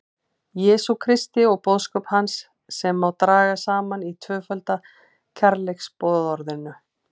Jesú Kristi og boðskap hans sem má draga saman í tvöfalda kærleiksboðorðinu.